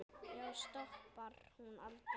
Já, stoppar hún aldrei?